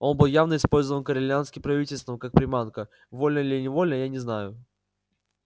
он был явно использован корелианским правительством как приманка вольно или невольно я не знаю